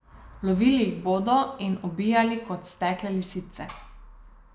Lovili jih bodo in jih ubijali kot stekle lisice.